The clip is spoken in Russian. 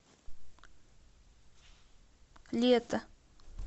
лето